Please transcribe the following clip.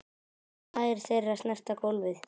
Tær þeirra snerta gólfið.